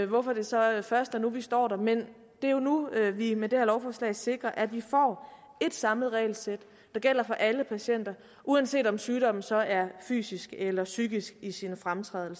hvorfor det så først er nu vi står der men det er nu at vi med det her lovforslag sikrer at vi får et samlet regelsæt der gælder for alle patienter uanset om sygdommen så er fysisk eller psykisk i sin fremtræden